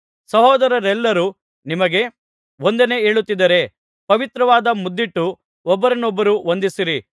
ಸಹೋದರರೆಲ್ಲರೂ ನಿಮಗೆ ವಂದನೆ ಹೇಳುತ್ತಿದ್ದಾರೆ ಪವಿತ್ರವಾದ ಮುದ್ದಿಟ್ಟು ಒಬ್ಬರನ್ನೊಬ್ಬರು ವಂದಿಸಿರಿ